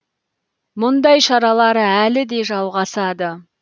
мұндай шаралар әлі де жалғасады